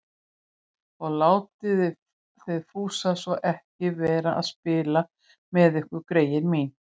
Og látið þið Fúsa svo ekki vera að spila með ykkur, greyin mín